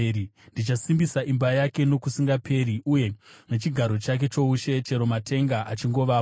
Ndichasimbisa imba yake nokusingaperi, uye nechigaro chake choushe chero matenga achingovapo.